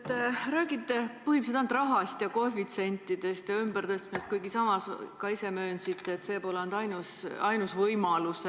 Te räägite põhimõtteliselt ainult koefitsientidest ja raha ümbertõstmisest, kuigi samas ka ise möönsite, et see pole ainus võimalus.